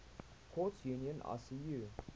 courts union icu